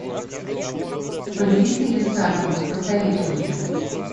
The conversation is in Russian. повелители салема посоветуй мне